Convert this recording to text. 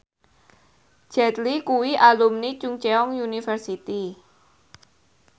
Jet Li kuwi alumni Chungceong University